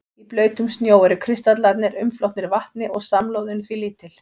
Í blautum snjó eru kristallarnir umflotnir vatni og samloðun því lítil.